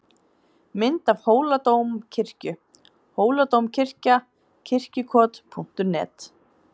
Mynd af Hóladómkirkju: Hóladómkirkja- Kirkjukot.net.